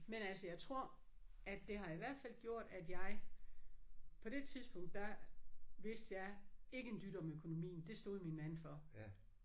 Men altså jeg tror at det har i hvert fald gjort at jeg på det tidspunkt der vidste jeg ikke en dyt om økonomien. Det stod min mand for